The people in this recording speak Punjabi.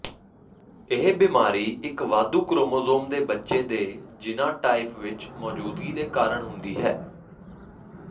ਇਹ ਬਿਮਾਰੀ ਇੱਕ ਵਾਧੂ ਕ੍ਰੋਮੋਸੋਮ ਦੇ ਬੱਚੇ ਦੇ ਜੀਨਾਂਟਾਈਪ ਵਿੱਚ ਮੌਜੂਦਗੀ ਦੇ ਕਾਰਨ ਹੁੰਦੀ ਹੈ